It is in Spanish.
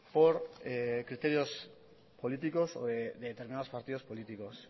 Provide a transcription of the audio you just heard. por criterios políticos de determinados partidos políticos